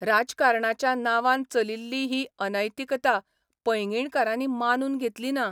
राजकारणाच्या नांवान चलिल्ली ही अनैतिकता पैंगीणकारांनी मानून घेतली ना.